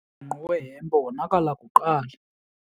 Umbhenqo wehempe wonakala kuqala.